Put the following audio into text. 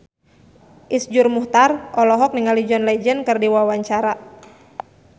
Iszur Muchtar olohok ningali John Legend keur diwawancara